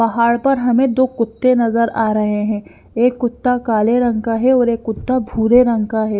पहाड़ पर हमें दो कुत्ते नजर आ रहे हैं एक कुत्ता काले रंग का है और एक कुत्ता भूरे रंग का है।